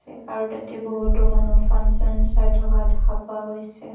আৰু তাতে বহুতো মানুহ ফান ছান চাই থকা দেখা পোৱা গৈছে।